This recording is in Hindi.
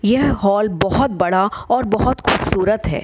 यह हॉल बहुत बड़ा और बहुत खूबसूरत है |